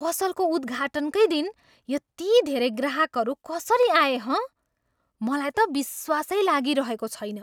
पसलको उद्धाटनकै दिन यति धेरै ग्राहकहरू कसरी आए हँ? मलाई त विश्वासै लागिरहेको छैन।